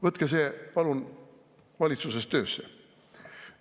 Võtke see palun valitsuses töösse.